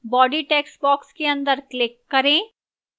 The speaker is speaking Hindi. body textbox के अंदर click करें